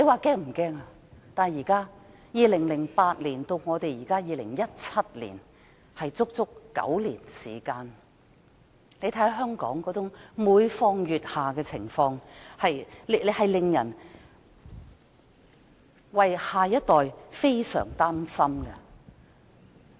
從2008年至2017年，足足9年時間，大家看到香港每況愈下的情況，為下一代感到非常擔心。